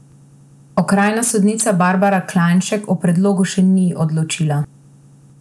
Okrajna sodnica Barbara Klajnšek o predlogu še ni odločila.